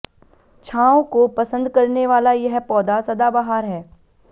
छांव को पसंद करने वाला यह पौधा सदाबहार है